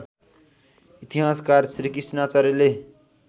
इतिहासकार श्रीकृष्ण आचार्यले